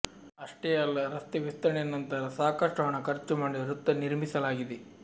ಅಷ್ಟೇ ಅಲ್ಲ ರಸ್ತೆ ವಿಸ್ತರಣೆ ನಂತರ ಸಾಕಷ್ಟು ಹಣ ಖರ್ಚು ಮಾಡಿ ವೃತ್ತ ನಿರ್ಮಿಸಲಾಗಿದೆ